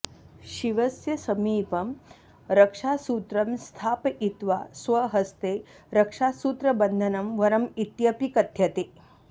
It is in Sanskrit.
शिवस्य समीपं रक्षासूत्रं स्थापयित्वा स्वहस्ते रक्षासूत्रबन्धनं वरम् इत्यपि कथ्यते